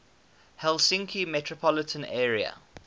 helsinki metropolitan area